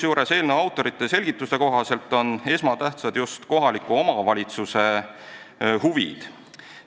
Eelnõu autorite selgituste kohaselt on esmatähtsad just kohaliku omavalitsuse huvid.